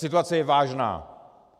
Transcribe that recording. Situace je vážná.